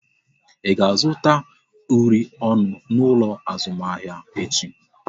Ị ga-azụta uri ọnụ n'ụlọ azụmahịa echi?